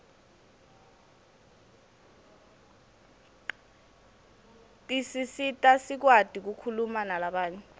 tisisita sikwati kukhuma nalabanye